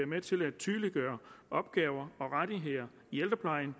med til at tydeliggøre opgaver og rettigheder i ældreplejen